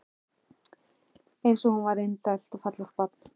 Eins og hún var indælt og fallegt barn.